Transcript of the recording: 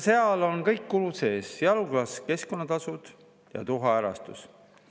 Seal on kõik kulud sees, sealhulgas keskkonnatasud ja tuhaärastus.